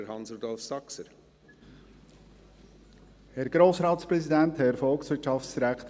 Dann gebe ich Hans-Rudolf Saxer zuerst das Wort.